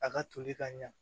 A ka toli ka ɲa